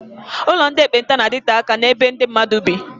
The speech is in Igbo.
Ụlọ ndị ekpenta na-adite aka n'ebe ndị mmadụ bị.